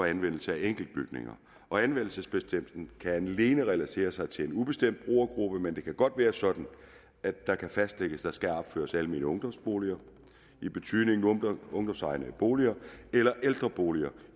anvendelse af enkeltbygninger og anvendelsesbestemmelsen kan alene relatere sig til en ubestemt brugergruppe men det kan godt være sådan at der kan fastsættes at der skal opføres almene ungdomsboliger i betydningen ungdomsegnede boliger eller ældreboliger